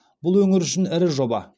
бұл өңір үшін ірі жоба